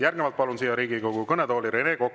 Järgnevalt palun siia Riigikogu kõnetooli Rene Koka.